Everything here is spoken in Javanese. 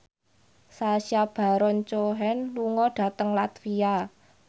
Sacha Baron Cohen lunga dhateng latvia